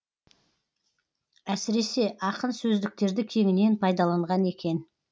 әсіресе ақын сөздіктерді кеңінен пайдаланған екен